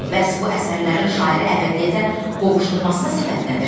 Bəs bu əsərlərin şairi əbədiyyətə qovuşdurmasına səbəb nədir?